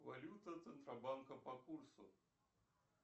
валюта центробанка по курсу